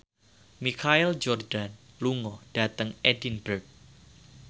Michael Jordan lunga dhateng Edinburgh